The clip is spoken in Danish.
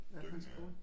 Dynge af